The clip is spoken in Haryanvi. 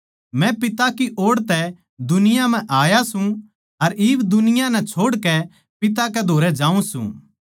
मै पिता की ओड़ तै दुनिया म्ह आया सूं अर इब दुनिया नै छोड़कै पिता कै धोरै जाऊँ सूं